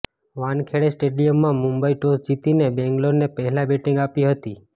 વાનખેડે સ્ટેડિયમમાં મુંબઇ ટોસ જીતીને બેંગ્લોરને પહેલા બેટીંગ આપી હતી